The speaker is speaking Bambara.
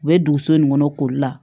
U bɛ duguso in kɔnɔ koli la